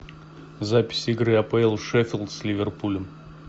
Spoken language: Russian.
запись игры апл шеффилд с ливерпулем